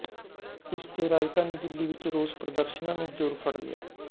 ਇਸ ਤੇ ਰਾਜਧਾਨੀ ਦਿੱਲੀ ਵਿੱਚ ਰੋਸ ਪ੍ਰਦਰਸ਼ਨਾਂ ਨੇ ਜ਼ੋਰ ਫੜ ਲਿਆ